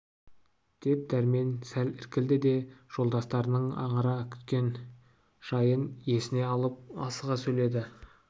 деп дәрмен сәл іркілді де жолдастарының аңыра күткен жайын есіне алып асыға сөйледі